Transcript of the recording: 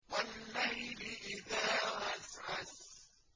وَاللَّيْلِ إِذَا عَسْعَسَ